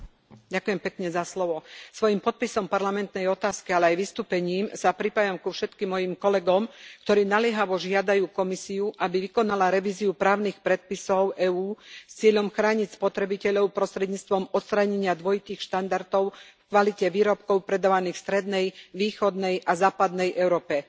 Vážený pán predsedajúci, svojím podpisom parlamentnej otázky, ale aj vystúpením sa pripájam ku všetkým mojím kolegom, ktorí naliehavo žiadajú Komisiu, aby vykonala revíziu právnych predpisov EÚ s cieľom chrániť spotrebiteľov prostredníctvom odstránenia dvojitých štandardov v kvalite výrobkov predávaných v strednej, východnej a západnej Európe.